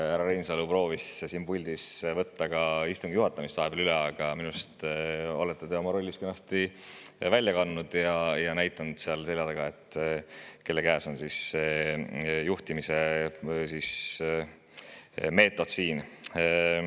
Härra Reinsalu proovis siin puldis võtta istungi juhatamist vahepeal üle, aga minu arust olete te oma rolli kenasti välja kandnud ja näidanud seal selja taga, kelle käes on siin juhtimisel.